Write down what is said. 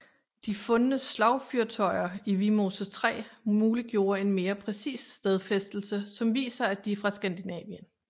De fundne slagfyrtøjer i Vimose 3 muliggjorde en mere præcis stedfæstelse som viser at de er fra Skandinavien